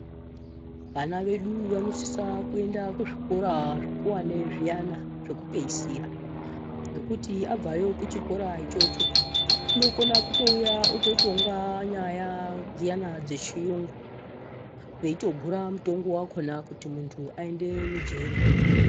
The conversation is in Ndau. Vana vedu vanosisa kuenda kuzvikora zvikuwani zviyana, zvokupedzisira ngokuti abvayo kuchikora ichocho, unokona kutouya ototonga nyaya dziyani dzechirungu, weitogura mutongo wakhona kuti muntu aende mujeri.